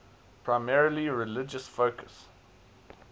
primarily religious focus